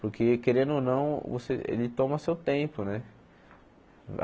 Porque, querendo ou não, você ele toma seu tempo né.